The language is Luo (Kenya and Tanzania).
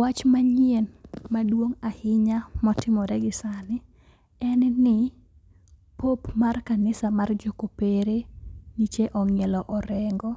Wach manyien maduong' ahinya motimore gisani en ni : pope mar kanisa jokopere nyicho omielo rengo